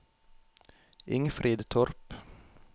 Ingfrid Torp